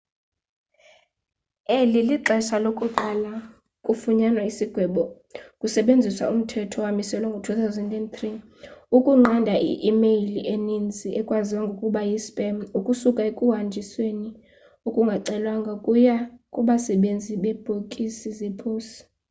eli lixesha lokuqala kufunyanwa isigwebo kusetyenziswa umthetho owamiselwa ngo-2003 ukunqanda i-imeyile eninzi ekwaziwa ngokuba yi spam ukusuka ekuhanjisweni okungacelwanga ukuya kubasebenzisi bebhokisi zeposi